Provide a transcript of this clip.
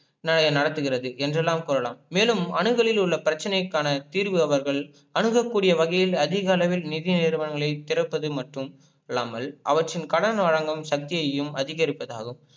நடத்துகிறது என்றுலாம் கூரலாம் மேலும் அணுகலில் உள்ள பிரச்சனைக்கான தீர்வு அவர்கள் அணுகக்கூடிய வகையில் அதிக அளவில் நிதி நிறுவங்களை திறப்பது மற்றும் இல்லாமல் அவற்றின் கடன் வழங்கும் சக்தியையும் அதிகரிப்பதாகும்.